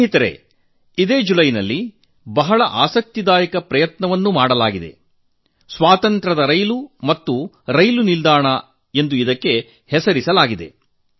ಮಿತ್ರರೇ ಇದೇ ಜುಲೈ ತಿಂಗಳಲ್ಲಿ ಸ್ವಾತಂತ್ರ್ಯದ ರೈಲುಗಾಡಿ ಮತ್ತು ರೈಲು ನಿಲ್ದಾಣ ಎಂದು ಹೆಸರಿಡಲಾದ ಬಹಳ ಆಸಕ್ತಿದಾಯಕ ಪ್ರಯತ್ನವನ್ನು ಮಾಡಲಾಗಿದೆ